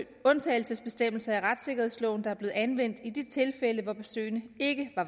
undtagelsesbestemmelser i retssikkerhedsloven der er blevet anvendt i de tilfælde hvor besøgene ikke